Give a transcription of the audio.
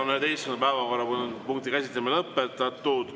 11. päevakorrapunkti käsitlemine on lõpetatud.